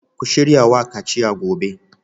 Ku shirya wa kaciya gobe